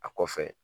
A kɔfɛ